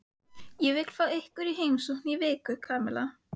Ég vil fá ykkur í heimsókn í viku, Kamilla.